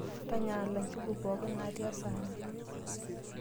Tanyaala njugu pookin naati esahani.